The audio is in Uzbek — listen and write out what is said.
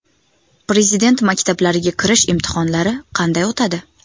Prezident maktablariga kirish imtihonlari qanday o‘tadi?